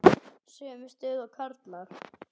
Sömu stöðu og karlar.